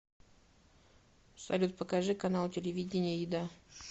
салют покажи канал телевидения еда